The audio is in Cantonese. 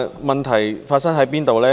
問題發生在哪裏呢？